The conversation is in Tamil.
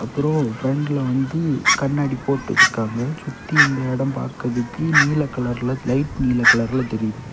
அப்புறம் ஃப்ரெண்ட்ல வந்து கண்ணாடி போட்டு வச்சிருக்காங்க சுத்தி இந்த இடம் பாக்குறதுக்கு நீல கலர்ல லைட் நீல கலர்ல தெரியுது.